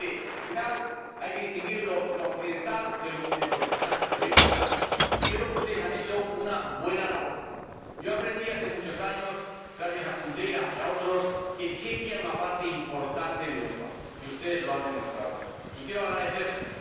Al final, hay que distinguir lo accidental de lo necesario, de lo importante, y yo creo que ustedes han hecho una buena labor. Aprendí hace muchos años, gracias a Kundera y a otros, que Chequia era una parte importante de Europa, y ustedes lo han demostrado y quiero agradecérselo.